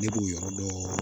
Ne b'o yɔrɔ dɔ